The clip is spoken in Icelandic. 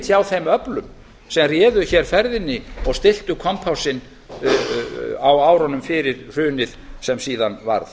hjá þeim öflum sem réðu hér ferðinni og stilltu kompásinn á árunum fyrir hrunið sem síðan varð